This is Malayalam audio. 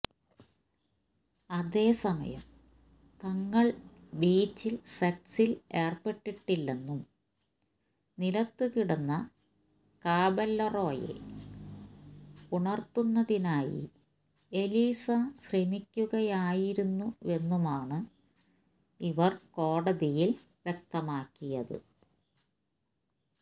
അതേസമയം തങ്ങൾ ബീച്ചിൽ സെക്സിൽ ഏർപ്പെട്ടിട്ടില്ലെന്നും നിലത്ത് കിടന്ന കാബെല്ലാറോയെ ഉണർത്തുന്നതിനായി എലീസ ശ്രമിക്കുകയായിരുന്നുവെന്നുമാണ് ഇവർ കോടതിയിൽ വ്യക്തമാക്കിയത്